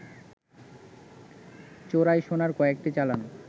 চোরাই সোনার কয়েকটি চালান